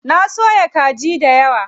Na soya kaji dayawa.